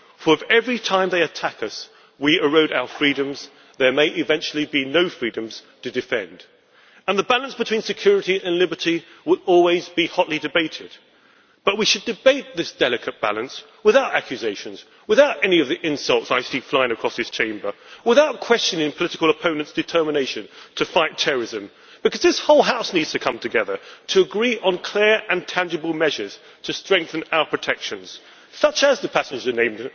For if, every time they attack us, we erode our freedoms, there may eventually be no freedoms to defend. The balance between security and liberty will always be hotly debated, but we should debate this delicate balance without accusations, without any of the insults I see flying across this Chamber, and without questioning political opponents' determination to fight terrorism, because this whole House needs to come together to agree on clear and tangible measures to strengthen our protection, such as introducing the passenger name